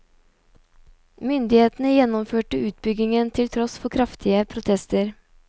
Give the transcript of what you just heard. Myndighetene gjennomførte utbyggingen til tross for kraftige protester.